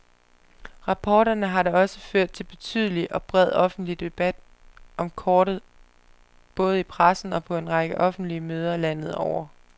Rapporterne har da også ført til betydelig og bred offentlig debat om kortet både i pressen og på en række offentlige møder landet over.